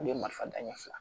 Olu ye marifataɲɛ fila